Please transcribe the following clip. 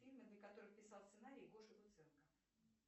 фильмы для которых писал сценарий гоша куценко